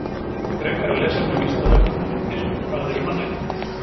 Frekara lesefni á Vísindavefnum og myndir Hvað eru mannréttindi?